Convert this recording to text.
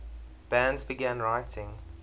bands began writing